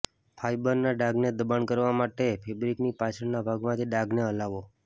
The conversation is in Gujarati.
ફાઈબરના ડાઘને દબાણ કરવા માટે ફેબ્રિકની પાછળના ભાગમાંથી ડાઘને હલાવો